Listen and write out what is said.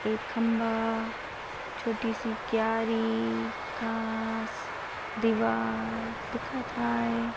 एक खंबा छोटीशी कॅरी घास दीवार दिखत हाय.